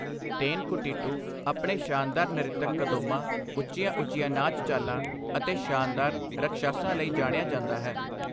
ਤੇਨਕੁਟੀਟੂ ਆਪਣੇ ਸ਼ਾਨਦਾਰ ਨਰਿੱਤਕ ਕਦੋਂਮਾਂ, ਉੱਚੀਆਂ-ਉੱਚੀਆਂ ਨਾਚ ਚਾਲਾਂ ਅਤੇ ਸ਼ਾਨਦਾਰ ਰਕਸ਼ਾਸਾਂ ਲਈ ਜਾਣਿਆ ਜਾਂਦਾ ਹੈ।